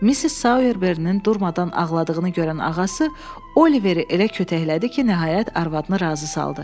Missis Soyerberinin durmadan ağladığını görən ağası Oliveri elə kötəklədi ki, nəhayət arvadını razı saldı.